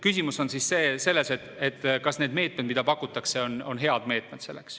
Küsimus on selles, kas need meetmed, mida pakutakse, on head meetmed.